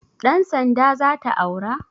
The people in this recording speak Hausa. Ɗan sanda zata aura?